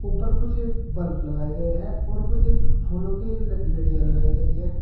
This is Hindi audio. उपर कुछ बल्ब लगाए गए हैं और कुछ फूलों के लड़ियां लगाई गई है।